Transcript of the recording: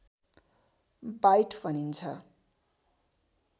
bite भनिन्छ